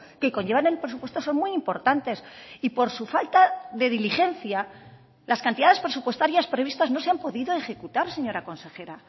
que conllevan el presupuesto son muy importantes y por su falta de diligencia las cantidades presupuestarias previstas no se han podido ejecutar señora consejera